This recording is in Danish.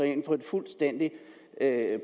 ind for en fuldstændig